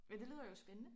Men det lyder jo spændende